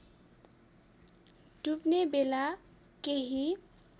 डुब्ने बेला केही